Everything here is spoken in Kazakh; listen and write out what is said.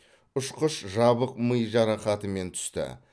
ұшқыш жабық ми жарақатымен түсті